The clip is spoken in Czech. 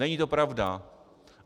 Není to pravda.